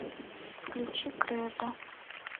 включи кредо